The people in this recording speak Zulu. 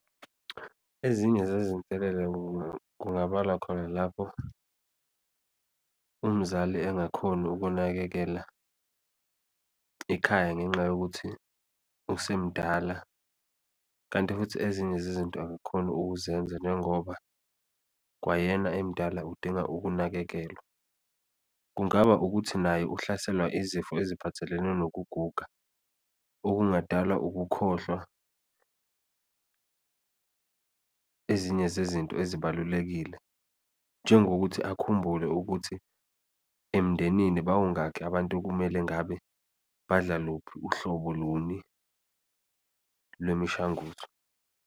Ezinye zezinselelo kungabalwa khona lapho umzali engakhoni ukunakekela ekhaya ngenxa yokuthi usemdala kanti futhi ezinye zezinto angakhoni ukuzenza njengoba kwayena emdala udinga ukunakekelwa. Kungaba ukuthi naye uhlaselwa izifo eziphathelene nokuguga okungadala ukukhohlwa ezinye zezinto ezibalulekile, njengokuthi akhumbule ukuthi emndenini bawungakhi abantu okumele ngabe badlala luphi uhlobo luni lwemishanguzo.